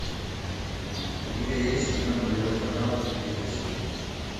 у тебя есть кино нулевой канал третья серия